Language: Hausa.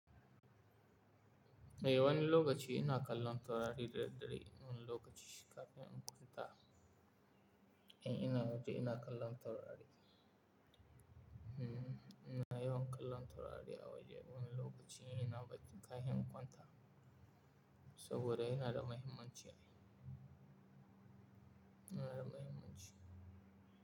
Eh, wani lokaci ina kallon taurari daidai, wani lokaci kafin in kwanta. In ina waje ina kallon taurari. Hmm, ina yawan kallon taurari a waje. Wani lokaci ina bacci kafin in kwanta saboda yana da mahimmanci. Yana da mahimmanci.